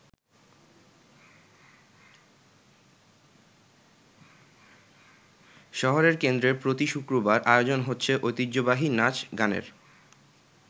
শহরের কেন্দ্রে প্রতি শুক্রবার আয়োজন হচ্ছে ঐতিহ্যবাহী নাচ গানের।